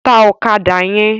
Tá òkàdá yèn